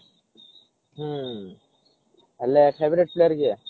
ହୁଁ ହେଲେ favorite player କିଏ